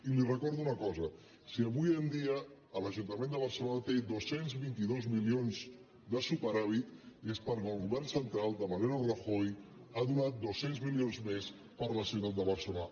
i li recordo una cosa si avui en dia l’ajuntament de barcelona té dos cents i vint dos milions de superàvit és perquè el govern central de mariano rajoy ha donat dos cents mi·lions més per a la ciutat de barcelona